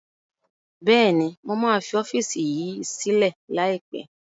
Bẹ́ẹ̀ni mo máa fi ọ́fíìsì yìí sílẹ̀ lai pẹ̀